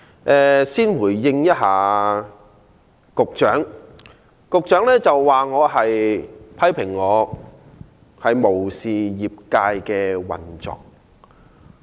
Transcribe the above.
我先回應局長批評我無視業界的運作。